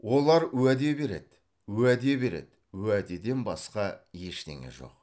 олар уәде береді уәде береді уәдеден басқа ештеңе жоқ